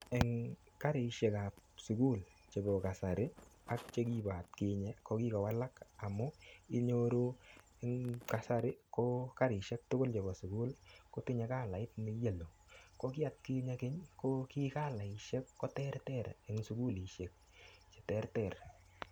Eng karishek ap sukul chebo kasari ak chekibo atkinye kokikowalak amu inyoru eng kasari ko karishek tukul chebo sukul kotinyei kalait ne yellow ko kiatkinye keny ko kikalaishek ko ter ter eng sukulishek che ter ter.